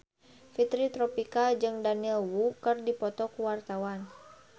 Fitri Tropika jeung Daniel Wu keur dipoto ku wartawan